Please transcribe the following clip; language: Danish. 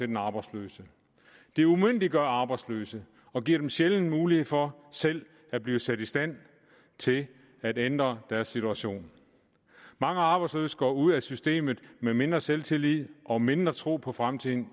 den arbejdsløse det umyndiggør arbejdsløse og giver dem sjældent mulighed for selv at blive sat i stand til at ændre deres situation mange arbejdsløse går ud af systemet med mindre selvtillid og mindre tro på fremtiden